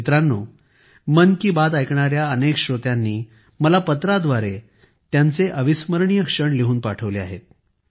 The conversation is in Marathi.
मित्रांनो मन की बात ऐकणाऱ्या अनेक श्रोत्यांनी मला पत्राद्वारे त्यांचे अविस्मरणीय क्षण लिहून पाठविले आहेत